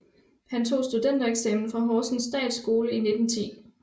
Han tog studentereksamen fra Horsens Statsskole i 1910